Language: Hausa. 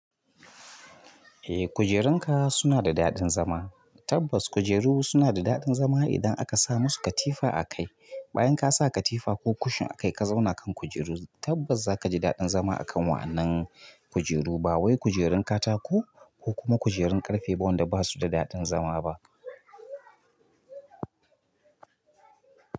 Eh kujerunka suna da daɗin zama. Tabbas kujeru suna da daɗin zama idan aka sa musu katifa akai. Bayan kasa katifa ko kushin akai ka zauna kan kujeru, tabbas zakaji daɗin zama akan waɗannan kujeru ba wai kujerun katako ko kuma kujerun ƙarfe ba wanda ba su da daɗin zama ba.